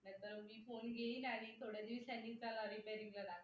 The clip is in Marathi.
बर मी फोन घेईल आणि थोड्या दिवसांनी त्याला त्याला repair ला टाकेल